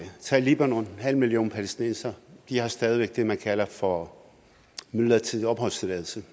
tag libanon halv million palæstinensere og de har stadig væk det man kalder for midlertidig opholdstilladelse